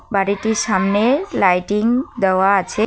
বাড়িটির সামনে লাইটিং দেওয়া আছে।